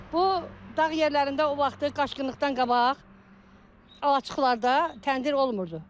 Bu dağ yerlərində o vaxtı qaçqınlıqdan qabaq alaçıqlarda təndir olmurdu.